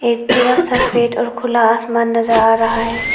एक पूरा सफेद और खुला आसमान नजर आ रहा है।